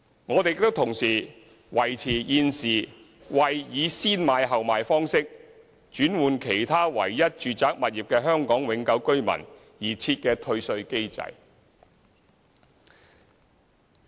我們亦同時維持現時為以"先買後賣"方式轉換其唯一住宅物業的香港永久性居民而設的退稅機制。